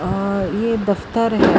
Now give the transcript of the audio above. ਔਰ ਯਹ ਦਫਤਰ ਹੈ।